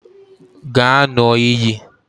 Gaa ṅụọ iyi